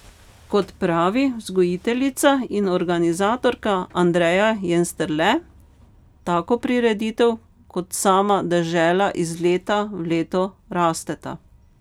Kot pravi vzgojiteljica in organizatorka Andreja Jensterle, tako prireditev kot sama dežela iz leta v leto rasteta.